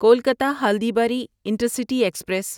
Kolkata Haldibari intercity express